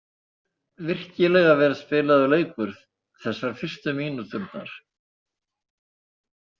Virkilega vel spilaður leikur þessar fyrstu mínúturnar.